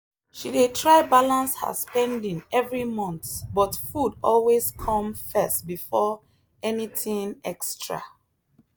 she dey try balance her spending every month but food always come first before anything extra